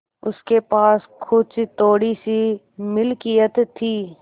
उसके पास कुछ थोड़ीसी मिलकियत थी